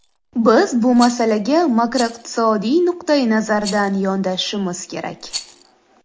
Biz bu masalaga makroiqtisodiyot nuqtai nazaridan yondashishimiz kerak.